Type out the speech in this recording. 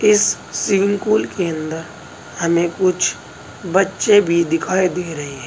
इस swimming pool के अंदर हमें कुछ बच्चे भी दिखाई दे रहे हैं।